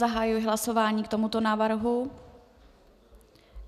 Zahajuji hlasování k tomuto návrhu.